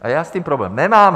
A já s tím problém nemám.